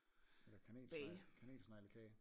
Eller kanelsnegle kanelsneglekage